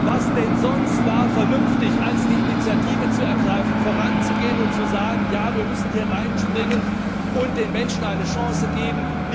Was wäre denn vernünftiger gewesen, als die Initiative zu ergreifen, voranzugehen und zu sagen Ja, wir müssen hier reinspringen und den Menschen eine Chance geben.